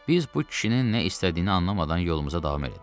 Biz bu kişinin nə istədiyini anlamadan yolumuza davam elədik.